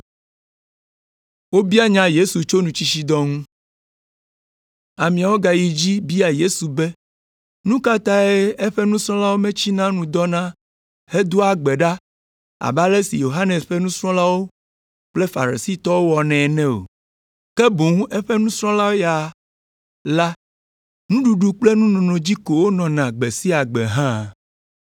Ameawo gayi edzi bia Yesu be nu ka tae eƒe nusrɔ̃lawo metsia nu dɔna hedoa gbe ɖa abe ale si Yohanes ƒe nusrɔ̃lawo kple Farisitɔwo wɔnɛ ene o, ke boŋ eƒe nusrɔ̃lawo ya la nuɖuɖu kple nunono dzi ko wonɔna gbe sia gbe hã.